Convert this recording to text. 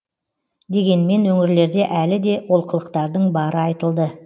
дегенмен өңірлерде әлі де олқылықтардың бары айтылды